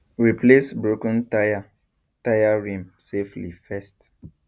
replace broken tyre tyre rim safely first